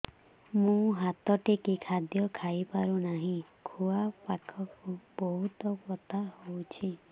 ମୁ ହାତ ଟେକି ଖାଦ୍ୟ ଖାଇପାରୁନାହିଁ ଖୁଆ ପାଖରେ ବହୁତ ବଥା ହଉଚି